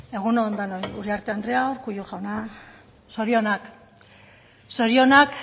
egunon denoi uriarte andrea urkullu jauna zorionak zorionak